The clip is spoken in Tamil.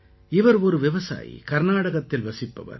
இவர் ஒரு விவசாயி கர்நாடகத்தில் வசிப்பவர்